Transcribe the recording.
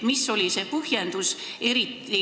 Mis oli see põhjendus?